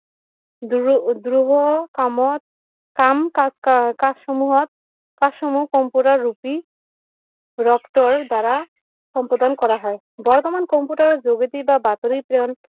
কামত কাম কাজ সমূহত কাজ সমূহত সম্পূৰ্ণ ৰূপি দ্বাৰা সম্বোধন কৰা হয় বৰ্তমান কম্পিউটাৰ যোগেদি বা বাতৰি প্ৰেৰণ